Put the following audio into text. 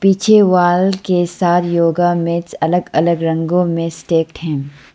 पीछे वॉल के साथ योगा में अलग अलग रंगों में स्टैक है।